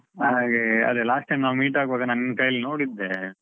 ಹಾಗೇ ಅದೇ last time ನಾವ್ meet ಆಗ್ವಾಗ ನಾನ್ ನಿನ್ನ್ ಕೈಯಲ್ಲಿ ನೋಡಿದ್ದೆ.